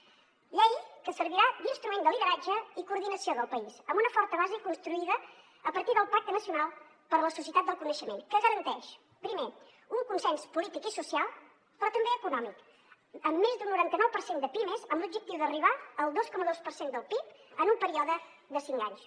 una llei que servirà d’instrument de lideratge i coordinació del país amb una forta base construïda a partir del pacte nacional per a la societat del coneixement que garanteix primer un consens polític i social però també econòmic amb més d’un noranta nou per cent de pimes amb l’objectiu d’arribar al dos coma dos per cent del pib en un període de cinc anys